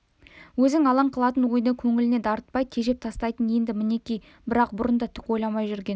өзін алаң қылатын ойды көңіліне дарытпай тежеп тастайтын енді мінекей бірақ бұрын да түк ойламай жүрген